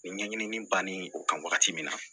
Nin ɲɛɲini bannen o kan wagati min na